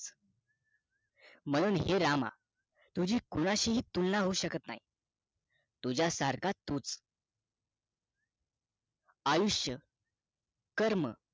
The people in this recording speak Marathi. म्हणून हे रामा तुझी कोणाशीही तुलना होऊ शकत नाही तुझा सारखा तूच आयुष्य कर्म